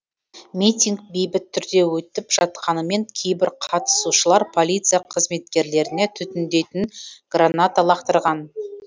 митинг бейбіт түрде өтіп жатқанымен кейбір қатысушылар полиция қызметкерлеріне түтіндейтін граната лақтырған